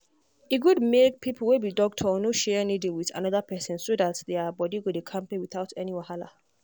e good make people wey be doctor no share needle with another person so that their body go dey kampe without any wahala.